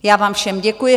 Já vám všem děkuji.